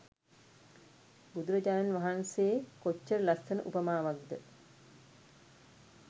බුදුරජාණන් වහන්සේ කොච්චර ලස්සන උපමාවක්ද